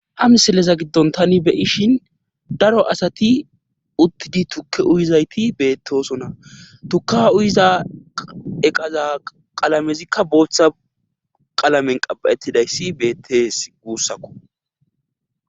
Ha misileza giddon tani beyishin daro asati uttidi tukke uyizayti beettosona tuka uyiza eqaza qalamezikka booththa qalamen qaba7ettidayssi beettees guussakko.